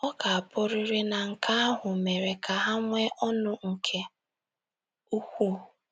Ọ ga - abụrịrị na nke ahụ mere ka ha nwee ọṅụ nke ukwuu.